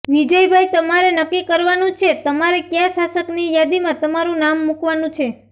વિજયભાઈ તમારે નક્કી કરવાનું છે તમારે કયાં શાસકની યાદીમાં તમારૂ નામ મુકવાનું છે